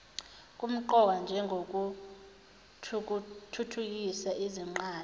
kumqoka njengokuthuthukisa izingqala